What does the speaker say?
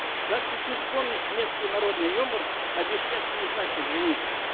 как тут не вспомнить меткий народный юмор обещать не значит жениться